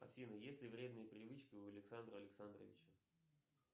афина есть ли вредные привычки у александра александровича